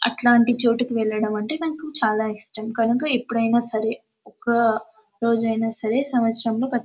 అట్లాంటి చోటుకు వెళ్లడం అంటే నాకు చాల ఇష్టం. కనుక ఎప్పుడైనా సరే ఒక రోజైన సరే సంవత్సరాల్ల సరే --